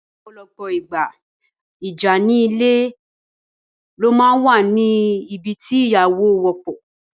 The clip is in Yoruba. In most cases, conflict in polygamous home is common thing